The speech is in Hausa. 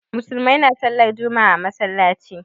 Musulmai na sallar juma'a a masallaci